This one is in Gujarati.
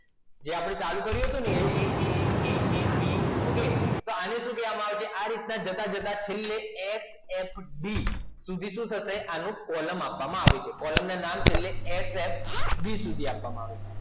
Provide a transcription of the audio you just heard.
જો આપણે ચાલુ કર્યું aab okay તો હવે આને શું કહેવામાં આવે છે આ રીતે જતા જતા ffd શું કહીશું આને આપણે કોલમ આપવાનો છે ffb સુધી આપવામાં આવે છે